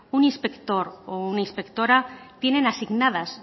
un inspector o una inspectora tienen asignadas